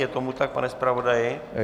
Je tomu tak, pane zpravodaji?